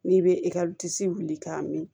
N'i bɛ ekɔli disi wuli k'a min